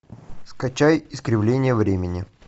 скачай искривление времени